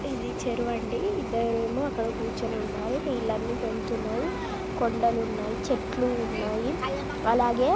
ఇది చెరువండి. ఇద్దరేమో అక్కడ కూర్చోని ఉన్నారు. నీళ్లన్నీ వేలుతున్నాయి . కొండలున్నాయి చెట్లు ఉన్నాయి. అలాగే--